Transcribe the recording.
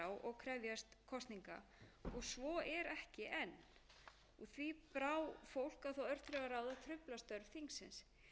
og krefjast kosninga og svo er ekki enn því brá fólk á það örþrifaráð að trufla störf þingsins